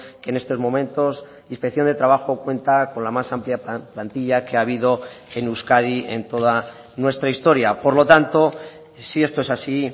que en estos momentos inspección de trabajo cuenta con la más amplia plantilla que ha habido en euskadi en toda nuestra historia por lo tanto si esto es así